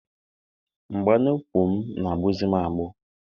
Mgba n'ukwu m na-agbụzi m agbụ.